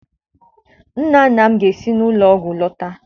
Nna nna m ga-esi n'ụlọ ọgwụ lọta.